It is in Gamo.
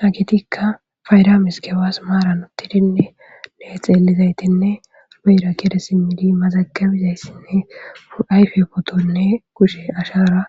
Hagetikka fayda mizigebas maaran uttidinnenne xeellizaytinne muyra kede simmidi mazagabizayssinne ayfe potonne kushe ashara